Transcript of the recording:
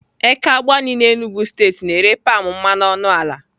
Eke Agbani n'Enugwu steeti na-ere palm mmanụ ọnụ ala.